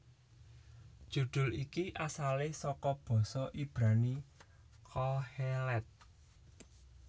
Judul iki asalé saka basa Ibrani Qoheleth